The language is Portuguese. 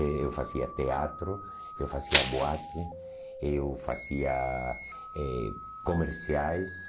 Eh eu fazia teatro, eu fazia boate, eu fazia eh comerciais.